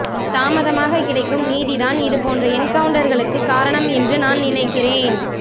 தாமதமாக கிடைக்கும் நீதி தான் இது போன்ற என்கவுண்டர்களுக்கு காரணம் என்று நான் நினைக்கின்றேன்